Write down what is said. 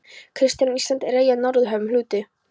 KRISTJÁN: Ísland er eyja í Norðurhöfum, hluti